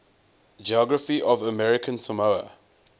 geography of american samoa